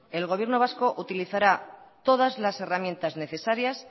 el gobierno vasco utilizará todas las herramientas necesarias